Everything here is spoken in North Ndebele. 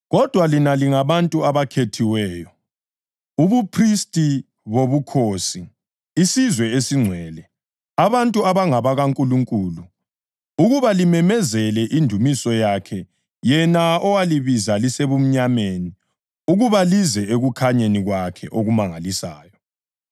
Kodwa lina lingabantu abakhethiweyo, ubuphristi bobukhosi, isizwe esingcwele, abantu abangabakaNkulunkulu, ukuba limemezele indumiso yakhe yena owalibiza lisemnyameni ukuba lize ekukhanyeni kwakhe okumangalisayo.